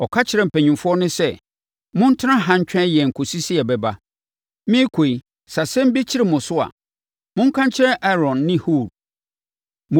Ɔka kyerɛɛ mpanimfoɔ no sɛ, “Montena ha ntwɛn yɛn kɔsi sɛ yɛbɛba. Merekɔ yi, sɛ asɛm bi kyere mo so a, monka nkyerɛ Aaron ne Hur.”